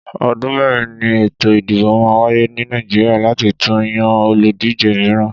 Ọdún mẹ́rin ni ètò ìdìbò máa ń wáyé ní Nàìjíríà láti tún yan olùdíje mìíràn.